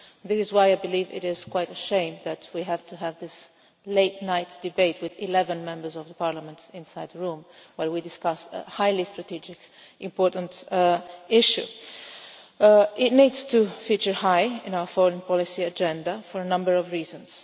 That is why I believe it is quite a shame that we have to have this late night debate with 11 Members of Parliament in the room while we discuss a highly strategic, important issue. Central Asia needs to feature high on our foreign policy agenda for a number of reasons.